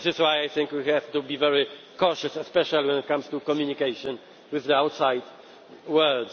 This is why I think we have to be very cautious, especially when it comes to communication with the outside world.